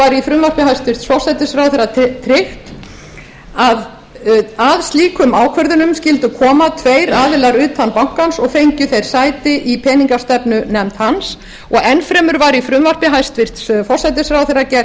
í frumvarpi hæstvirts forsætisráðherra tryggt að að slíkum ákvörðunum skyldu koma tveir aðilar utan bankans og fengju þeir sæti í peningastefnunefnd hans og enn fremur var í frumvarpi hæstvirts forsætisráðherra gert